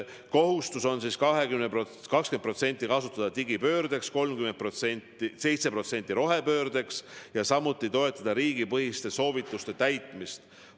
Kohustus on 20% kasutada digipöördeks, 7% rohepöördeks ja samuti toetada riigipõhiste soovituste täitmist.